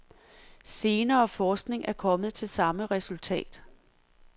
Senere forskning er kommet til samme resultat.